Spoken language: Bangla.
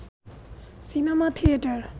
cinema theatre